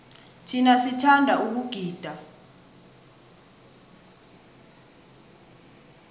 thina sithanda ukugida